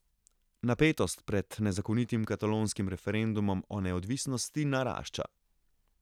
Napetost pred nezakonitim katalonskim referendumom o neodvisnosti, narašča.